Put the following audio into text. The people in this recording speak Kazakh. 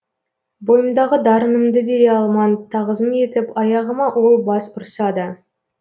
бойымдағы дарынымды бере алман тағзым етіп аяғыма ол бас ұрсада